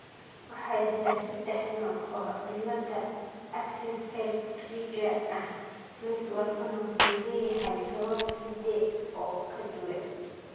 Waxaa jira saddex nooc oo cilada Axenfeld Rieger ah mid walbana wuxuu leeyahay sabab hidde oo ka duwan.